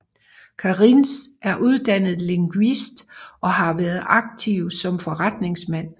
Kariņš er uddannet lingvist og har været aktiv som forretningsmand